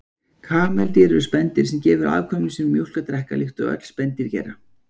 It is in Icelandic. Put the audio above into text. Kameldýr eru spendýr sem gefur afkvæmum sínum mjólk að drekka, líkt og öll spendýr gera.